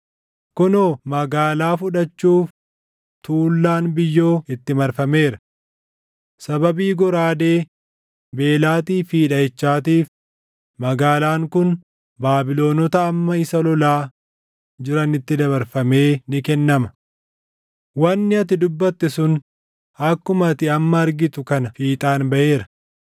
“Kunoo magaalaa fudhachuuf tuullaan biyyoo itti marfameera. Sababii goraadee, beelaatii fi dhaʼichaatiif magaalaan kun Baabilonota amma isa lolaa jiranitti dabarfamee ni kennama. Wanni ati dubbatte sun akkuma ati amma argitu kana fiixaan baʼeera.